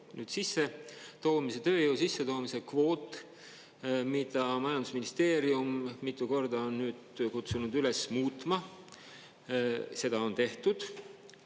Nüüd, sissetoomise, tööjõu sissetoomise kvoot, mida majandusministeerium mitu korda on nüüd kutsunud üles muutma, seda on tehtud.